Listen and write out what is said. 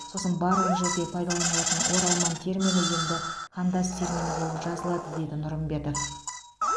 сосын барлық жерде пайдаланылатын оралман термині енді қандас термині болып жазылады деді нұрымбетов